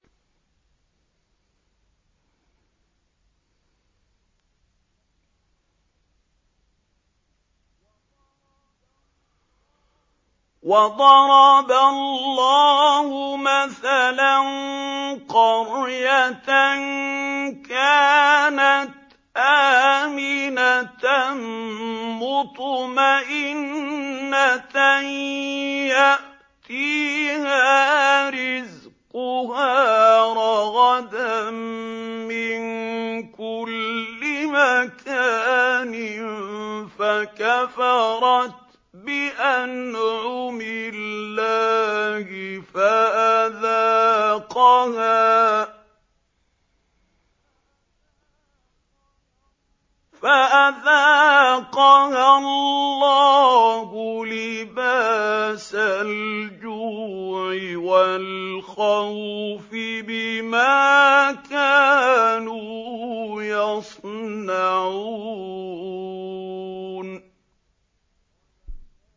وَضَرَبَ اللَّهُ مَثَلًا قَرْيَةً كَانَتْ آمِنَةً مُّطْمَئِنَّةً يَأْتِيهَا رِزْقُهَا رَغَدًا مِّن كُلِّ مَكَانٍ فَكَفَرَتْ بِأَنْعُمِ اللَّهِ فَأَذَاقَهَا اللَّهُ لِبَاسَ الْجُوعِ وَالْخَوْفِ بِمَا كَانُوا يَصْنَعُونَ